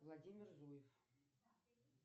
владимир зуев